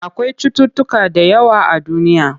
Akwai cutuutuka da yawa a duniya.